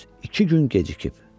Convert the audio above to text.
Düz iki gün gecikib.